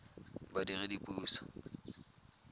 badiredipuso